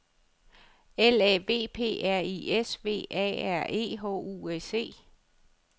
L A V P R I S V A R E H U S E